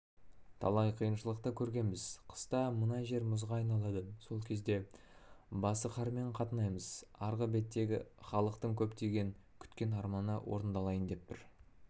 талай қиыншылықты көргенбіз қыста мына жер мұзға айналады сол кезде басықарамен қатынаймыз арғы беттегі халықтың көптен күткен арманы орындалайын деп тұр